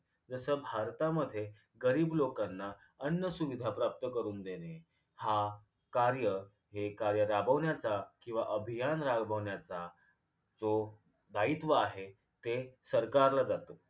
जस भारतामध्ये गरीब लोकांना अन्नसुविधा प्राप्त करून देणे हा कार्य हे कार्य राबवण्याचा किंवा अभियान राबवण्याचा जो दायित्व आहे ते सरकारला जातं